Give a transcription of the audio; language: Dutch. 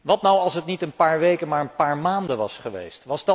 Wat nu, als het niet een paar weken, maar een paar maanden was geweest?